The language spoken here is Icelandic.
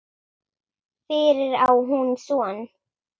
Fyrir á hún son.